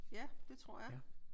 Ja det tror jeg